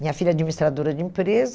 Minha filha é administradora de empresa.